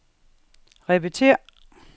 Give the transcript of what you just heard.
repetér